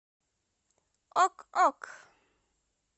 ок ок